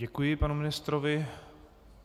Děkuji panu ministrovi.